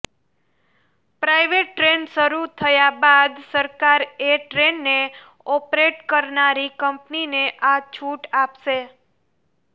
private train શરૂ થયા બાદ સરકાર એ ટ્રેનને ઓપરેટ કરનારી કંપનીને આ છૂટ આપશે